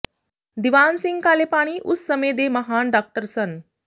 ਦੀਵਾਨ ਸਿੰਘ ਕਾਲੇਪਾਣੀ ਉਸ ਸਮੇਂ ਦੇ ਮਹਾਨ ਡਾਕਟਰ ਸਨ